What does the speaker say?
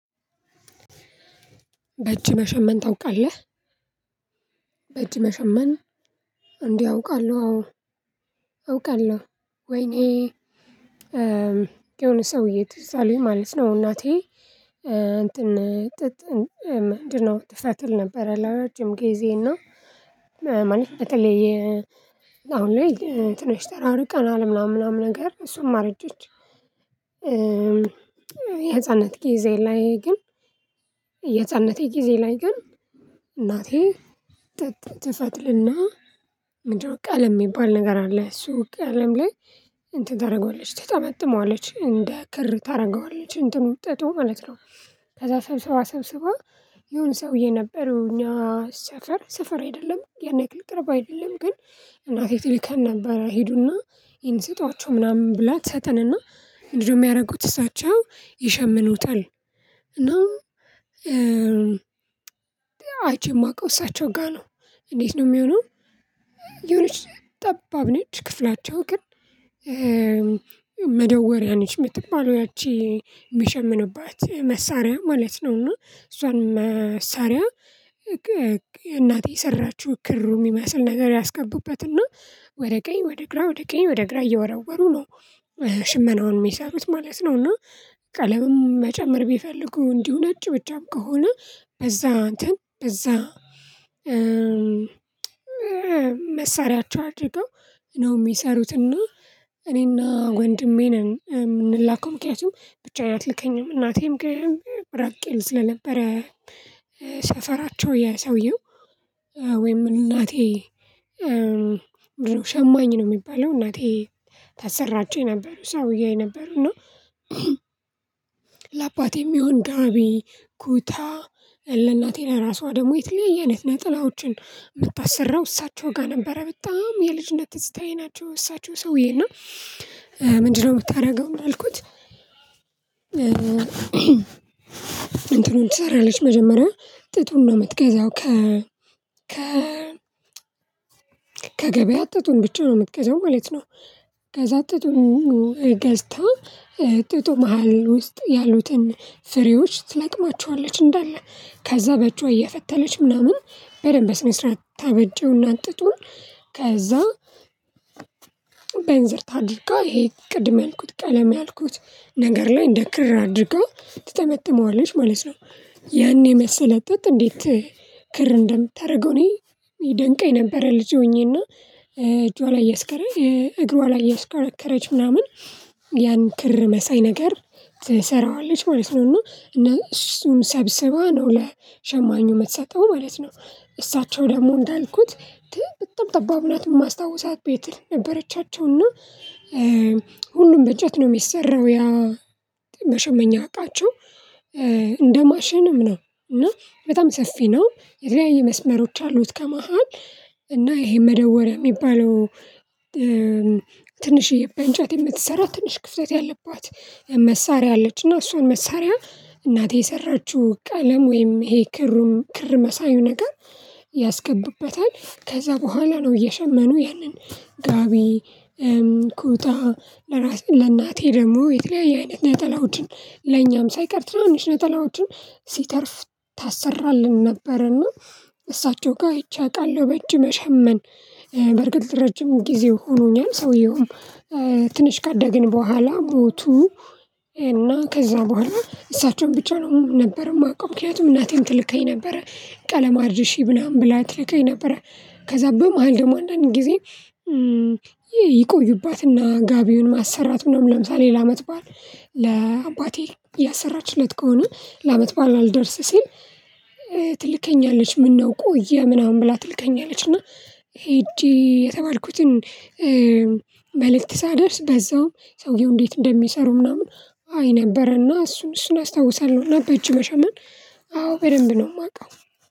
በእጅ መሸመን ታውቃለህ? በእጅ መሸመን እንዴ አውቃለሁ አዎ አውቃለሁ ወይኔ የሆነ ሰውዬ ትዝ አለኝ ማለት ነው እናቴ እንትን ጥጥ ምንድነው ትፈትል ነበረ ለረጅም ጊዜ እና ማለት በተለይ አሁን ላይ ትንሽ ተራር ቀናል ምናምን ምናምን ነገር እሷም አረጀች። የህፃንነት ጊዜ ላይ ግን የህፃንነቴ ጊዜ ላይ ግን እናቴ ጥጥ ትፈትልና ምንድነው ቀለም የሚባል ነገር አለ እሱ ቀለም ላይ እንትን ታደርገዋለች ትጠመጥመዋለች እንደ ክር ታደርገዋለች እንትኑ ጥጡ ማለት ነው ከዛ ሰብስባ ሰብስባ የሆነ ሰውዬ ነበር እኛ ሰፈር ሰፈር አይደለም ያን ያክል ቅርብ አይደለም ግን እናቴ ትልከን ነበር "ሂዱና ይሄን ስጧቸው" ምናምን ብላ ትሰጠንና ምንድነው የሚያደርጉት እሳቸው ይሸምኑታል እና አይቼ የማውቀው እሳቸው ጋር ነው። እንዴት ነው የሚሆነው የሆነች ጠባብ ነች ክፍላቸው ግን መደወሪያ ነች የምትባለው ያቺ የሚሸምኑባት መሳሪያ ማለት ነው እና እሷን መሳሪያ እናቴ የሰራችው ክሩ የሚመስል ነገር ያስገቡበትና ወደ ቀኝ ወደ ግራ ወደ ቀኝ ወደ ግራ እየወረወሩ ነው ሽመናውን የሚሰሩት ማለት ነው እና ቀለምም መጨመር ቢፈልጉ እንዲሁ ነጭ ብቻም ከሆነ በዛ እንትን በዛ መሳሪያቸው አድርገው ነው የሚሰሩትና እኔና ወንድሜ ነን የምንላከው ምክንያቱም ብቻዬን አትልከኝም እናቴም ግን ራቅ ይል ስለነበረ ሰፈራቸው የሰውየው ወይም እናቴ ምንድነው ሸማኝ ነው የሚባለው እናቴ ታሰራቸው የነበሩ ሰውዬ ነበሩና እና ለአባቴ የሚሆን ጋቢ፣ ኩታ ለእናቴ ለራሷ ደግሞ የተለያየ አይነት ነጠላዎችን የምታሰራው እሳቸው ጋር ነበረ። በጣም የልጅነት ትዝታዬ ናቸው እሳቸው ሰውዬ እና ምንድነው የምታደርገው ነው ያልኩት እንትኑን ትሰራለች መጀመሪያ ጥጡን ነው የምትገዛው ከ ከ ከገበያ ጥጡን ብቻ ነው የምትገዛው ማለት ነው ገዛ ጥጡን ገዝታ ጥጡ መሃል ውስጥ ያሉትን ፍሬዎች ትለቅማቸዋለች እንዳለ። ከዛ በእጇ እየፈተለች ምናምን በደንብ በስነስርዓት ታበጀውና ጥጡን ከዛ በ እንዝርት አድርጋ ይሄ ቅድም ያልኩት ቀለም ያልኩት ነገር ላይ እንደ ክር አድርጋ ትጠመጥመዋለች ማለት ነው። ያን የመሰለ ጥጥ እንዴት ክር እንደምታደርገው እኔ ይደንቀኝ ነበረ ልጅ ሆኜና እጇ ላይ እያስከረ እግሯ ላይ እያስከረከረች ምናምን ያን ክር መሳይ ነገር ትሰራዋለች ማለት ነው። እና እነ እሱን ሰብስባ ነው ለሸማኙ የምትሰጠው ማለት ነው። እሳቸው ደግሞ እንዳልኩት በጣም ጠባብ ናት የማስታውሳት ቤት ነበረቻቸው እና ሁሉም በእንጨት ነው የሚሰራው ያ መሸመኛ አቃቸው። እንደ ማሽንም ነው እና በጣም ሰፊ ነው የተለያዩ መስመሮች አሉት ከመሃል እና ይሄ መደወሪያ የሚባለው ትንሽዬ በ እንጨት የምትሰራ ትንሽ ክፍተት ያለባት መሳሪያ አለች። እና እሷን መሳሪያ እናቴ የሰራችው ቀለም ወይም ይሄ ክሩን ክር መሳዩ ነገር ያስገቡበታል። ከዛ በኋላ ነው እየሸመኑ ያንን ጋቢ ኩታ ለራስ ለእናቴ ደግሞ የተለያየ አይነት ነጠላዎችን ለኛም ሳይቀር ትናንሽ ነጠላዎችን ሲተርፍ ታሰራለን ነበር እና እሳቸው ጋር አይቼ አውቃለሁ በእጅ መሸመን። በእርግጥ ረጅም ጊዜ ሆኖኛል ሰውየውም ትንሽ ካደግን በኋላ ሞቱ እና ከዛ በኋላ እሳቸውን ብቻ ነው ነበር የማውቀው ምክንያቱም እናቴም ትልከኝ ነበረ ቀለም አድርሺ ምናምን ብላ ትልከኝ ነበረ ከዛ በመሃል ደግሞ አንዳንድ ጊዜ ይቆዩባትና ጋቢውን ማሰራት ምናምን ለምሳሌ ለአመት በዓል ለአባቴ ያሰራችለት ከሆነ ለአመት በዓል አልደርስ ሲል ትልከኛለች ምነው ቆየ ምናምን ብላ ትልከኛለች እና ሄጄ የተባልኩትን መልእክት ሳደርስ በዛውም ሰውየው እንዴት እንደሚሰሩ ምናምን አይ ነበረና እሱን እሱን አስታውሳለሁ እና በእጅ መሸመን አዎ በደንብ ነው የማውቀው።